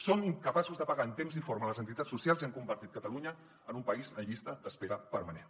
són incapaços de pagar en temps i forma les entitats socials i han convertit catalunya en un país en llista d’espera permanent